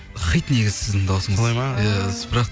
хит негізі сіздің дауысыңыз солай ма иә бірақ